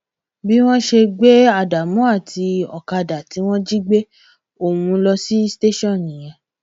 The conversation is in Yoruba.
bí wọn ṣe gbé ádámù àti ọkadà tí wọn jí gbé ohùn ló sì tẹsán nìyẹn